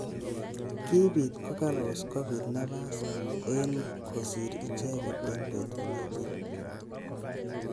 Kibit Kogalos kobit nafas eng kosir icheket eng betut notok.